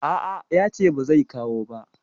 A a, ya ce ba zai kawo ba.